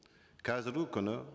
қазіргі күні